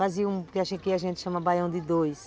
Fazia um que a gente chama baião de dois.